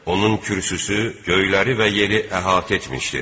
Onun kürsüsü göyləri və yeri əhatə etmişdir.